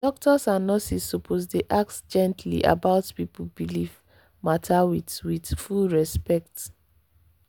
doctors and nurses suppose dey ask gently about people belief matter with with full respect.